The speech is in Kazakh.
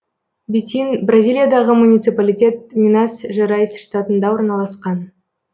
бетин бразилиядағы муниципалитет минас жерайс штатында орналасқан